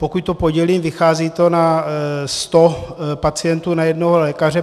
Pokud to podělím, vychází to na 100 pacientů na jednoho lékaře.